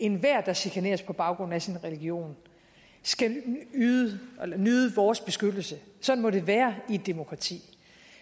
enhver der chikaneres på baggrund af sin religion skal nyde vores beskyttelse sådan må det være i et demokrati